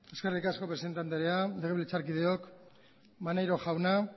eskerrik asko presidente andrea legebiltzarkideok maneiro jauna